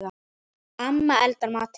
Amma eldar matinn.